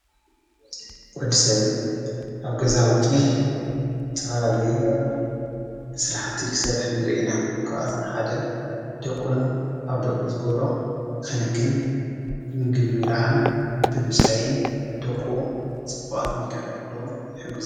ወዲ ሰብ ኣብ ገዛቱሕ ተበላሌየ ሠልሓቲ ኽሠርሕ ንርኢና ከኣቶም ሓደ ደቑ ኑ ኣብ ደቊ ዝጐሮ ኽንክን ምግሚ ለዓን ብምስታይን ደቑ ጽቡዓት መድቀን ኹሎም ይሕግዙ።